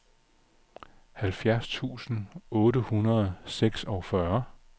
halvfjerds tusind otte hundrede og seksogfyrre